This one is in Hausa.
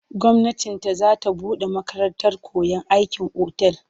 Gwamnati ta za ta buɗe makarantar koyon aikin otal.